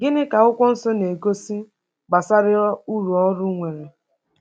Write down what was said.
Gịnị ka Akwụkwọ Nsọ na-egosi gbasara uru ọrụ nwere?